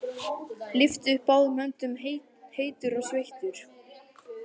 Lyfti upp báðum höndum, heitur og sveittur.